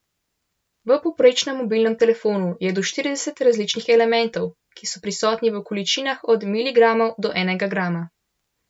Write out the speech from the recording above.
V povprečnem mobilnem telefonu je do štirideset različnih elementov, ki so prisotni v količinah od miligramov do enega grama.